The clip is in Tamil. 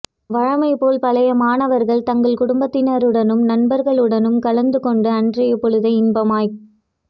வழமைபோல் பழைய மாணவர்கள் தங்கள் குடும்பத்தினருடனும் நண்பர்களுடனும் கலந்து கொண்டு அன்றைய பொழுதை இன்பமாய்க்